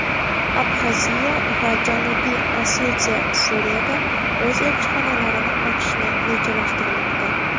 Abxaziya va Janubiy Osetiya Suriyada o‘z elchixonalarini ochishni rejalashtirmoqda.